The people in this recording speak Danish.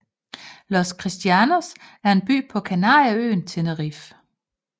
Los Cristianos er en by på kanarieøen Tenerife